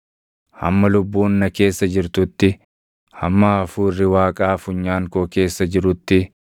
hamma lubbuun na keessa jirtutti, hamma hafuurri Waaqaa funyaan koo keessa jirutti,